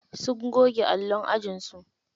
Sun goge allon ajinsu.